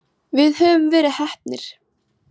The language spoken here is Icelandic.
Við höfum verið heppnir.